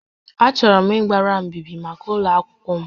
Achọrọ m ịgbara mbíbí màkà ụgwọ akwụkwọ m